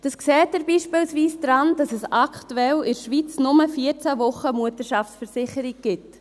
Das sehen Sie beispielsweise daran, dass es aktuell in der Schweiz nur 14 Wochen Mutterschaftsversicherung gibt.